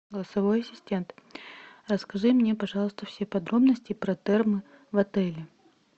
голосовой ассистент расскажи мне пожалуйста все подробности про термы в отеле